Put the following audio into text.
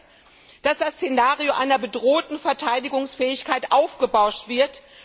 Ich denke, dass das Szenario einer bedrohten Verteidigungsfähigkeit aufgebauscht wird.